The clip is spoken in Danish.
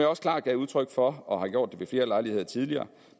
også klart gav udtryk for og har gjort ved flere lejligheder tidligere